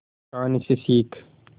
कहानी से सीख